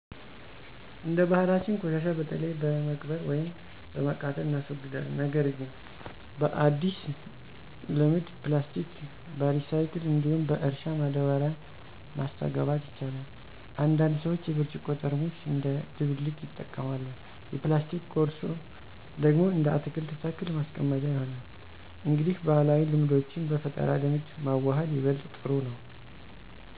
እንደ ባህላችን ቆሻሻ በተለይ በመቅበር ወይም በማቃጠል እናስወግዳለን። ነገር ግን በአዲስ ልምድ ፕላስቲክ በሪሳይክል እንዲሁም በእርሻ ማዳበሪያ ማስተጋባት ይቻላል። አንዳንድ ሰዎች የብርጭቆ ጠርሙስ እንደ ደብልቅ ይጠቀማሉ፣ የፕላስቲክ ኮርሶ ደግሞ እንደ አትክልት ተክል ማስቀመጫ ይሆናል። እንግዲህ ባህላዊ ልምዶችን በፈጠራ ልምድ ማዋሃድ ይበልጥ ጥሩ ነው።